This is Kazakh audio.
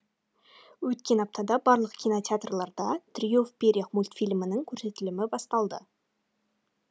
өткен аптада барлық кинотеатрларда трио в перьях мультфильмінің көрсетілімі басталды